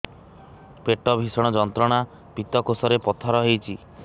ପେଟ ଭୀଷଣ ଯନ୍ତ୍ରଣା ପିତକୋଷ ରେ ପଥର ହେଇଚି